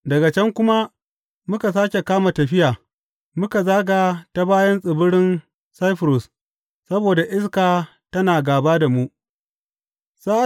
Daga can kuma muka sāke kama tafiya muka zaga ta bayan tsibirin Saifurus saboda iska tana gāba da mu.